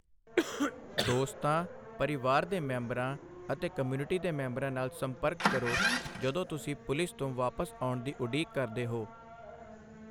ਦੋਸਤਾਂ, ਪਰਿਵਾਰ ਦੇ ਮੈਂਬਰਾਂ ਅਤੇ ਕਮਿਊਨਿਟੀ ਦੇ ਮੈਂਬਰਾਂ ਨਾਲ ਸੰਪਰਕ ਕਰੋ ਜਦੋਂ ਤੁਸੀਂ ਪੁਲਿਸ ਤੋਂ ਵਾਪਸ ਆਉਣ ਦੀ ਉਡੀਕ ਕਰਦੇ ਹੋ।